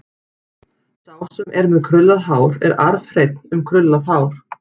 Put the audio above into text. Sá sem er með krullað hár er arfhreinn um krullað hár.